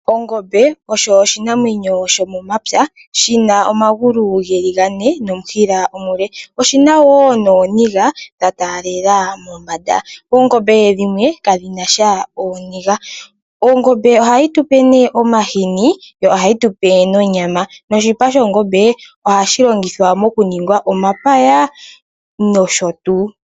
Ongombe oyo oshinamwenyo shomomapya shi na omagulu ge li gane nomushila omule. Oshi na wo nooniga dha taalela mombanda. Oongombe dhimwe kadhi na sha ooniga. Ongombe ohayi tu pe ne omahini yo ohayi tu pe nonyama noshipa shongombe ohashi longithwa mokuninga omapaya nosho tuu.